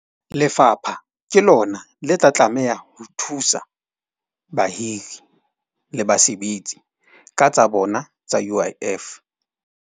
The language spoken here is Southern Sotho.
Lefapha ke lona le tla tlameha ho thusa bahiri le basebetsi ka tsa bona tsa U_I_F.